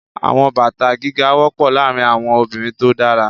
Àwọn bàtà gíga wọ́pọ̀ láàárín àwọn obìnrin tó dára.